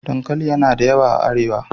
Dankali yana da yawa a Arewa.